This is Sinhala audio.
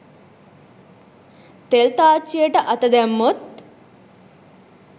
තෙල් තාච්චියට අත දැම්මොත්